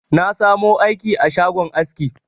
Na sa mu aiki a shagon aski